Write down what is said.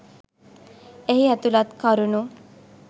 එහි ඇතුළත් කරුණු